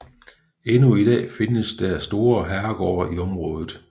Endnu i dags findes der store herregårde i området